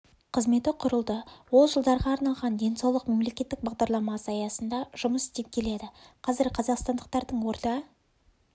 қызметі құрылды ол жылдарға арналған денсаулық мемлекеттік бағдарламасы аясында жұмыс істеп келеді қазір қазақстандықтардың орта